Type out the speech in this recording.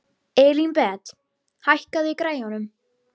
Elínbet, hækkaðu í græjunum.